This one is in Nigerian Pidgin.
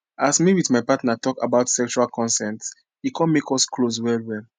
as me with my partner talk about sexual consent e come make us close well well